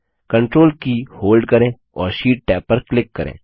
control की hold करें और शीट टैब पर क्लिक करें